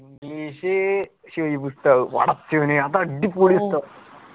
English Shuaib ഉസ്താദ് പടച്ചോനെ അത് അടിപൊളി ഉസ്താദ്.